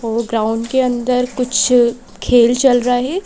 Ground के अंदर कुछ खेल चल रहा है।